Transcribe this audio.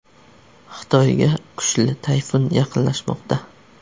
Xitoyga kuchli tayfun yaqinlashmoqda.